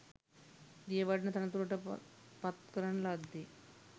දියවඩන තනතුරට පත් කරන ලද්දේ